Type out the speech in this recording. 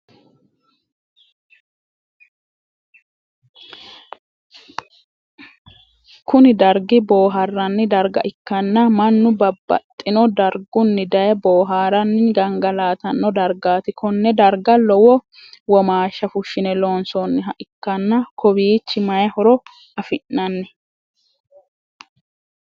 Kunni dargi booharanni darga ikanna mannu babbaxino dargunni daye booharanni gangalatano dargaati Konne darga lowo womaasha fushine loonsoonniha ikanna kawichi mayi horo afi'nanni?